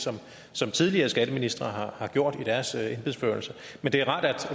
som tidligere skatteministre har gjort i deres embedsførelse men det er rart at